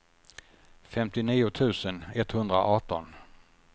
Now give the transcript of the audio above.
femtionio tusen etthundraarton